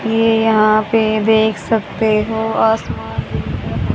ये यहां पे देख सकते हो आसमान दिख रहा--